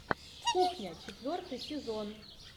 кухня четвертый сезон